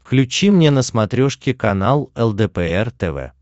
включи мне на смотрешке канал лдпр тв